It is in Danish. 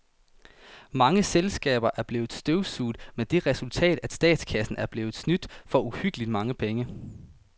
Mange selskaber er blevet støvsuget med det resultat, at statskassen er blevet snydt for uhyggeligt mange penge.